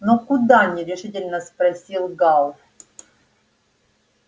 но куда нерешительно спросил гаал